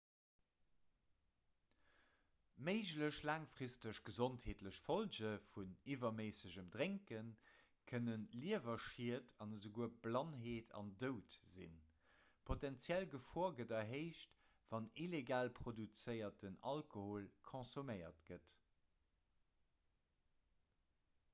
méiglech laangfristeg gesondheetlech follge vun iwwerméissegem drénke kënne liewerschied an esouguer blannheet an doud sinn d'potenziell gefor gëtt erhéicht wann illegal produzéierten alkohol konsuméiert gëtt